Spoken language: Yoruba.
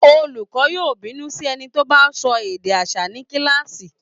Olùkọọ́ yóò bínú sí ẹni tó bá sọ èdè aṣa ní kíláàsì